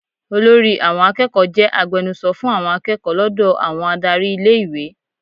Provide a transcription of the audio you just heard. Olórí àwọn akẹ́kọ̀ọ́ jẹ́ agbenuso fún àwọn akẹ́kọ̀ọ́ lọ́dọ̀ àwọn adárí ilé-ìwé.